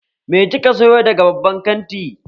Me kika sayo daga babban kanti?